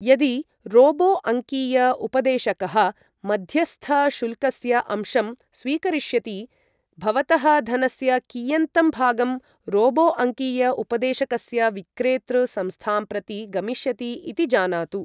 यदि रोबो अङ्कीय उपदेशकः मध्यस्थशुल्कस्य अंशं स्वीकरिष्यति, भवतः धनस्य कियन्तं भागं रोबो अङ्कीय उपदेशकस्य विक्रेतृ संस्थां प्रति गमिष्यति इति जानातु।